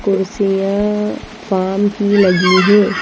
कुर्सियाँ फार्म की लगी हैं।